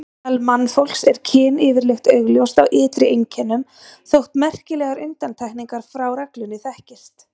Meðal mannfólks er kyn yfirleitt augljóst á ytri einkennum, þótt merkilegar undantekningar frá reglunni þekkist.